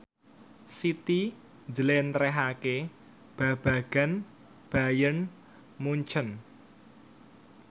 Siti njlentrehake babagan Bayern Munchen